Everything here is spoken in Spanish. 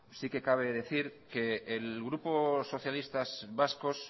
sí que cabe decir que el grupo socialistas vascos